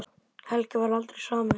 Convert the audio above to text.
Helgi varð aldrei samur.